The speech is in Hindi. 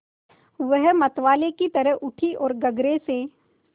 वह मतवाले की तरह उठी ओर गगरे से